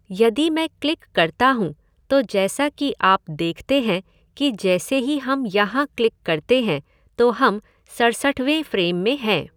यदि मैं क्लिक करता हूं, तो जैसा कि आप देखते हैं कि जैसे ही हम यहां क्लिक करते हैं तो हम सड़सठवें फ़्रेम में हैं।